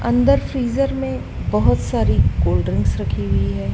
अंदर फ्रीजर में बोहोत सारी कोल्ड ड्रिंक्स रखी हुई है।